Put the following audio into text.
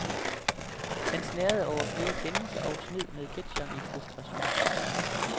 Han snerrede over flere kendelser og smed med ketcheren i frustration.